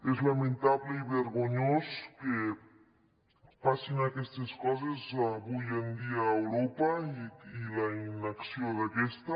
és lamentable i vergonyós que passin aquestes coses avui en dia a europa i la inacció d’aquesta